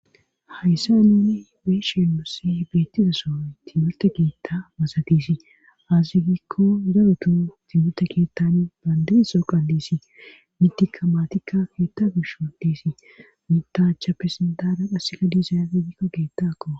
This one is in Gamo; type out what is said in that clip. hayssa nini beeshen moossi beettizasoy timurte keitta masatisi azi gikko garutu timmurte keettani baandiza soo qa diisi mitika maatikka keetta gishodiisi mitaacha pesindaara qhassika diisa afe gikko geettaakko